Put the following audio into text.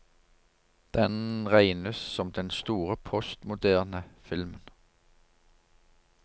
Den regnes som den store postmoderne filmen.